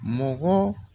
Mɔgɔ